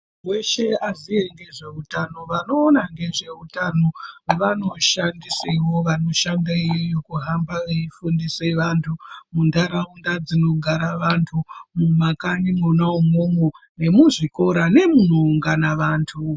Weshe azive nezveutano vanoona nezveutano anoshandisawo vanohamba veyi fundisa vantu mundaraunda dzinogara vantu mumakanyi mona imomo bemizvikora nemuno ungana vanhu.